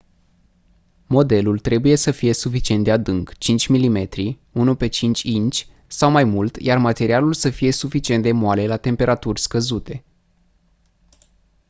modelul trebuie să fie suficient de adânc 5 mm 1/5 inci sau mai mult iar materialul să fie suficient de moale la temperaturi scăzute